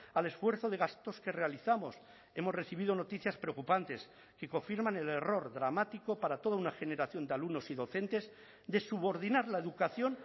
al esfuerzo de gastos que realizamos hemos recibido noticias preocupantes que confirman el error dramático para toda una generación de alumnos y docentes de subordinar la educación